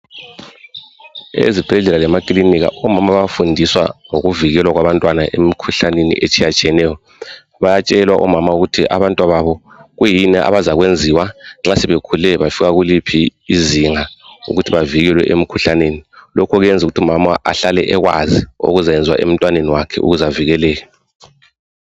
Ezibhedlela lemakilinika omama bayafundiswa ngokuvikelwa kwabantwana emikhuhlaneni etshiyatshiyeneyo. Bayatshelwa omama ukuthi abantwababo kuyini abazakwenziwa nxa sebekhule bafika kuliphi izinga ukuthi bavikelwe emikhuhlaneni. Lokhu kuyenza ukuthi umama ahlale ekwazi okuzayenziwa emntwaneni wakhe ukuze avikeleke.